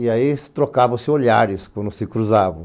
E aí, trocavam-se olhares quando se cruzavam.